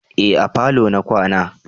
Eh a falo na kwana